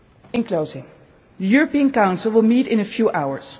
In closing, the European Council will meet in a few